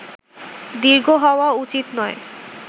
দীর্ঘ হওয়া উচিত নয়